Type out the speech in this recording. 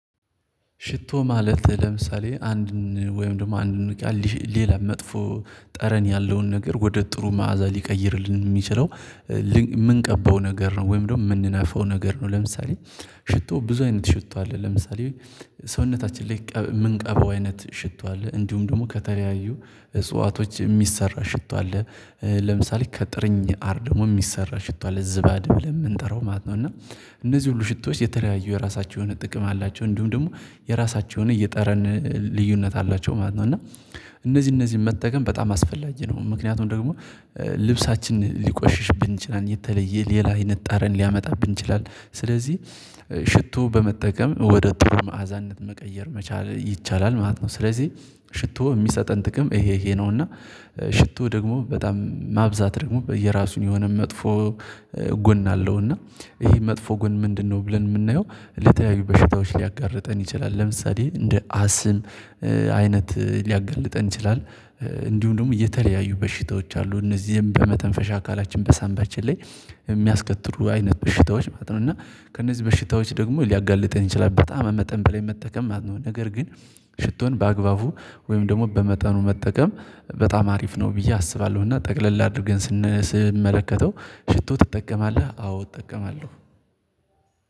ሽቶ ማለት ለምሳሌ አንድን ወይም ደግሞ አንድን ቃል ሌላ መጥፎ ጠረን ያለውን ነገር ወደ ጥሩ መዓዛ ሊቀይርልን የሚችለው የምንቀበው ነገር ነው ወይም ደግሞ የምንነፋው ነገር ነው። ለምሳሌ ሽቶ ብዙ አይነት ሽቶ አለ። ለምሳሌ ሰውነታችን ላይ ምንቀባው አይነት ሽቶ አለ። እንዲሁም ደግሞ ከተለያዩ እጽዋቶች የሚሰራ ሽቶ አለ ለምሳሌ ከጥርኝ አር ደግሞ የሚሰራ ሽቶ አለ ዝባድ ብለን የምንጠራው ማለት ነው። እና እነዚህ ሁሉ ሽቶች የተለያዩ የራሳቸው የሆነ ጥቅም አላቸው። እንዲሁም ደግሞ የራሳቸውን የጠረን ልዩነት አላቸው ማለት ነው። እና እነዚህ እነዚህ መጠቀም በጣም አስፈላጊ ነው። ምክንያቱም ደግሞ ልብሳችን ሊቆሽሽብን ይችላል የተለየ ሌላ አይነት ጠረን ሊያመጣብን ይችላል። ስለዚህ ሽቶ በመጠቀም ወደ ትርፍ መዓዛነት መቀየር መቻል ይቻላል ማለት ነው። ስለዚህ ሽቶ የሚሰጠን ጥቅም ይሄ ይሄ ነው። እና ሽቶ ደግሞ በጣም ማብዛት ደግሞ በየራሱን የሆነ መጥፎ ጎን አለው። እና ይሄ መጥፎ ጎን ምንድነው ብለን የምናየው? ለተያዩ በሽታዎች ሊያጋርጠን ይችላል ለምሳሌ እንደ አስም አይነት ሊያጋልጠን ይችላል። እንዲሁ ደግሞ የተለያየ በሽታዎች አሉ እነዚህም በመተንፈሻ አካላችን በሳንባችን ላይ የሚያስከትሉ አይነት በሽታዎች ማለት ነው። እና ከእነዚህ በሽታዎች ደግሞ ሊያጋልጠን ይችላል በጣም መጠን በላይ መጠቀም ማለት ነው። ነገር ግን ሽቶን በአግባቡ ወይም ደግሞ በመጠኑ መጠቀም በጣም አሪፍ ነው። ብዬ አስባለሁና ጠቅለል አድርገን ስንመለከተው ሽቶ ትጠቀማለህ አዎ እጠቀማለሁ።